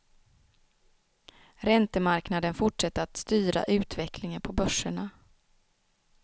Räntemarknaden fortsatte att styra utvecklingen på börserna.